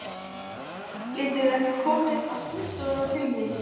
Geturðu ekki komið á skrifstofuna til mín?